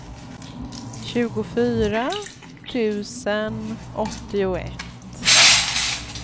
tjugofyra tusen åttioett